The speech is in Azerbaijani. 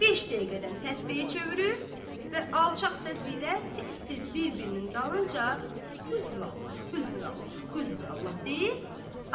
Beş dəqiqədən təsbehi çevirib və alçaq səsi ilə tez-tez bir-birinin dalınca Qulhu Vallah, Qulhu Vallah, Qulhu Vallah deyir,